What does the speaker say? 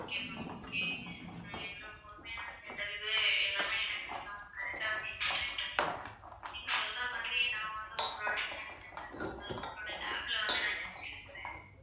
okay ma'am okay நான் இவ்வளவு பொறுமையா கேட்டதுக்கு எல்லாமே எனக்கு நீங்க வந்து correct ஆ வந்து explain பண்ணீங்க நீங்க சொல்ற மாதிரி நான் வந்து உங்களுடைய scan center ல உங்களுடைய lab ல வந்து நான் test எடுக்கிறேன்